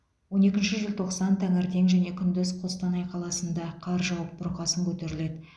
он екінші желтоқсан таңертең және күндіз қостанай қаласында қар жауып бұрқасын көтеріледі